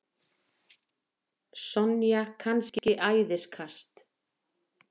Sonja kannski æðiskast?